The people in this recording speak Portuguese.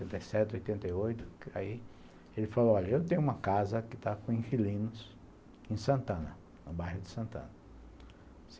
Oitenta e sete, oitenta e oito. Ele falou, olha, eu tenho uma casa que está com inquilinos em Santana, no bairro de Santana.